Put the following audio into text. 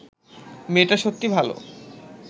মেয়েটা সত্যি ভাল